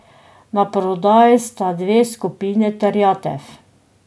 Naprodaj sta dve skupini terjatev.